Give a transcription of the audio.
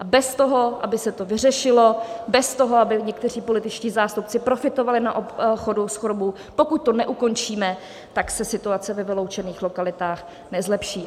A bez toho, aby se to vyřešilo, bez toho, aby někteří političtí zástupci profitovali na obchodu s chudobou, pokud to neukončíme, tak se situace ve vyloučených lokalitách nezlepší.